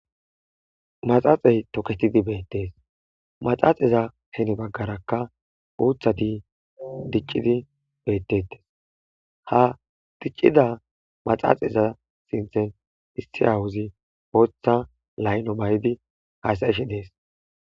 Maxxaxey tokketidi bettes maxaxaza gede baggara uuththati diccidi bettes ha diccida maxaxeza giddon issi awozi booththa layilo mayidi hassaishe dess.